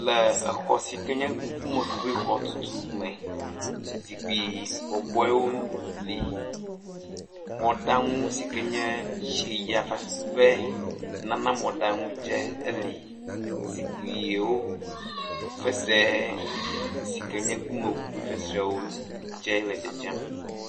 Le exɔ sike nye ŋkume ʋi xɔtutu me, zikpui bɔbɔewo le. Mɔɖaŋu sike nye tsi ya fafe nana mɔ ɖaŋu tse le. Zikpuiwo, fesre sike nye ŋkume ŋuŋu fŋsrewo tse le dzedzem